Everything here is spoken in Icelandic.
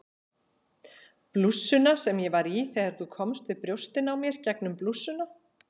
Blússuna sem ég var í þegar þú komst við brjóstin á mér gegnum blússuna